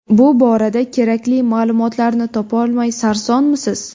Bu borada kerakli ma’lumotlarni topolmay sarsonmisiz?